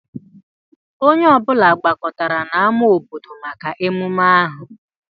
Onye ọ bụla gbakọtara n'ámá obodo maka ememme ahụ